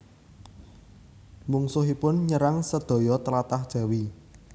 Mungsuhipun nyerang sedaya tlatah Jawi